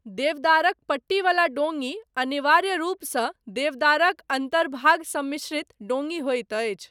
देवदारक पट्टीवला डोङी, अनिवार्य रूपसँ, देवदारक अन्तर्भाग सम्मिश्रित, डोङी होइत अछि।